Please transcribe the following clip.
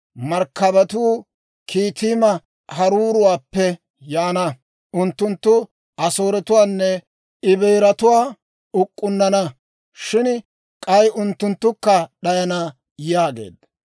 Markkabatuu Kitiima haruuruwaappe yaana; unttunttu Asooretuwaanne Ebeeratuwaa uk'k'unnana; Shin k'ay unttunttukka d'ayana» yaageedda.